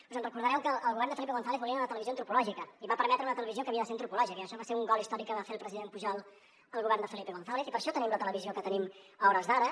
us recordareu que el govern de felipe gonzález volia una televisió antropològica i va permetre una televisió que havia de ser antropològica i això va ser un gol històric que va fer el president pujol al govern de felipe gonzález i per això tenim la televisió que tenim a hores d’ara